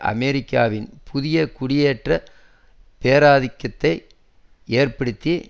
அமெரிக்காவின் புதிய குடியேற்ற பேராதிக்கத்தை ஏற்படுத்தி